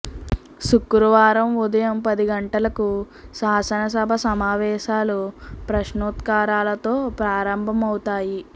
శుక్రవారం ఉదయం పది గంటలకు శాసన సభా సమావేశాలు ప్రశ్నోత్తరాలతో ప్రారంభం అవుతాయి